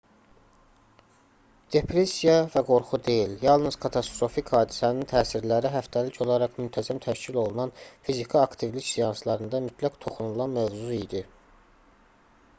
depressiya və qorxu deyil yalnız katastrofik hadisənin təsirləri həftəlik olaraq müntəzəm təşkil olunan fiziki aktivlik seanslarında mütləq toxunulan mövzu idi